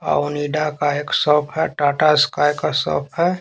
और हौंडा का एक शॉप है टाटा स्काई का शॉप है।